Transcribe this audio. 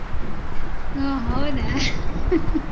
ಹೊ ಹೌದಾ